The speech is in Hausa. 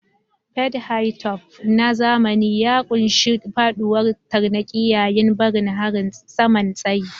Fade hi-top na zamani ya ƙunshi faɗuwar tarnaƙi yayin barin saman tsayi.